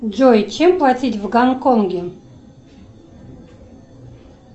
джой чем платить в гонконге